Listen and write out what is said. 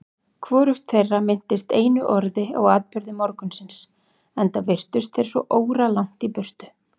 Hvorugt þeirra minntist einu orði á atburði morgunsins, enda virtust þeir svo óralangt í burtu.